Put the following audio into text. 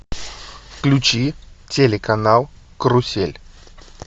включи телеканал карусель